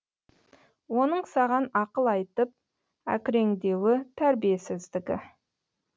оның саған ақыл айтып әкіреңдеуі тәрбиесіздігі